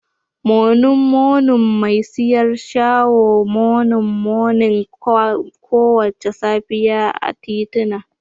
Monin monin mai siyar shaho monin monin kowace safiya a titina